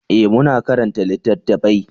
eh mu na karanta littattafai